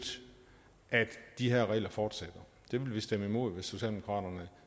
at de her regler fortsætter det vil vi stemme imod hvis socialdemokraterne